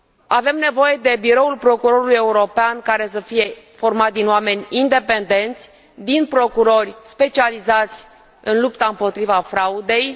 Avem nevoie de Biroul Procurorului European, care să fie format din oameni independenți, din procurori specializați în lupta împotriva fraudei.